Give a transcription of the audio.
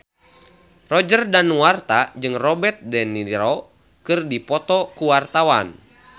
Roger Danuarta jeung Robert de Niro keur dipoto ku wartawan